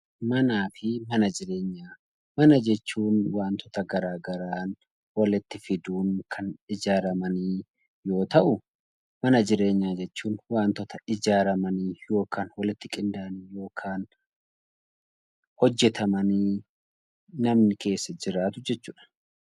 Mana jechuun wantoota garaagaraan walitti fiduun kan ijaaraman yoo ta'u, mana jireenyaa jechuun wantoota ijaaramanii yookaan walitti qindaa'inii yookiin hojjatamanii namni keessa jiraatu jechuudha.